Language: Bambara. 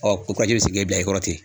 ko bila i kɔrɔ ten